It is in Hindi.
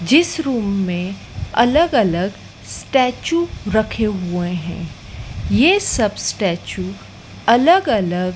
जिस रूम में अलग अलग स्टेच्यू रखे हुए हैं ये सब स्टेच्यू अलग अलग --